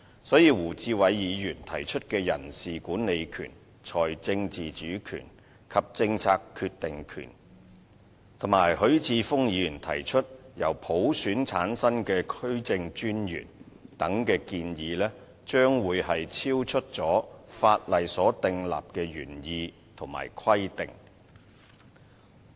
所以，胡志偉議員提出的人事管理權、財政自主權及政策決定權，以及許智峯議員提出由普選產生的區政專員等建議，將會超出法例所訂立的原意及規定。